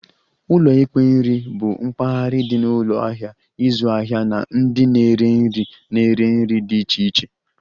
Ụlọ ikpe nri bụ mpaghara dị na ụlọ ahịa ịzụ ahịa na ndị na-ere nri na-ere nri dị iche iche